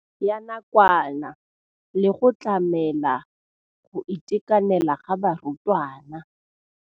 Ya nakwana le go tlamela go itekanela ga barutwana.